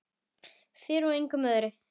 Þér og engum öðrum.